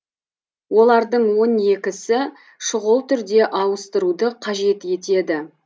олардың он екісі шұғыл түрде ауыстыруды қажет етеді